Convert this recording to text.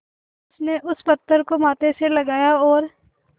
उसने उस पत्थर को माथे से लगाया और